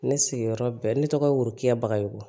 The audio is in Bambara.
Ne sigiyɔrɔ bɛn ne tɔgɔ ye worokiya bagayogo